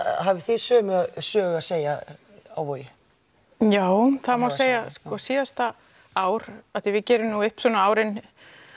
hafið þið sömu sögu að segja á Vogi já það má segja það síðasta ár af því að við gerum upp árin